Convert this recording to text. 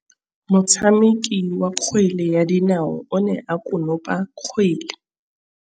Motshameki wa kgwele ya dinaô o ne a konopa kgwele.